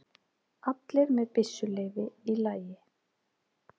Allir með byssuleyfi í lagi